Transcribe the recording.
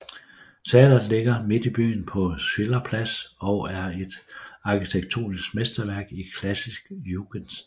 Teatret ligger midt i byen på Schillerplads og er et arkitektonisk mesterværk i klassisk Jugendstil